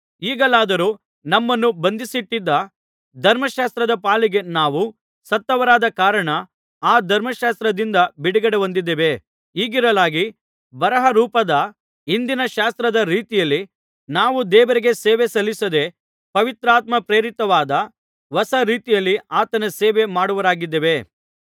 ಈಗಲಾದರೋ ನಮ್ಮನ್ನು ಬಂಧಿಸಿಟ್ಟಿದ್ದ ಧರ್ಮಶಾಸ್ತ್ರದ ಪಾಲಿಗೆ ನಾವು ಸತ್ತವರಾದ ಕಾರಣ ಆ ಧರ್ಮಶಾಸ್ತ್ರದಿಂದ ಬಿಡುಗಡೆಹೊಂದಿದ್ದೇವೆ ಹೀಗಿರಲಾಗಿ ಬರಹರೂಪದ ಹಿಂದಿನ ಶಾಸ್ತ್ರದ ರೀತಿಯಲ್ಲಿ ನಾವು ದೇವರಿಗೆ ಸೇವೆ ಸಲ್ಲಿಸದೆ ಪವಿತ್ರಾತ್ಮ ಪ್ರೇರಿತವಾದ ಹೊಸ ರೀತಿಯಲ್ಲಿ ಆತನ ಸೇವೆ ಮಾಡುವವರಾಗಿದ್ದೇವೆ